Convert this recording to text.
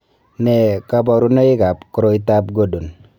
Nee kabarunoikab koroitoab Gordon?